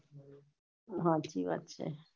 હાચી વાત છે